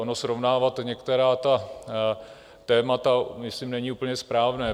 Ono srovnávat některá ta témata myslím není úplně správné.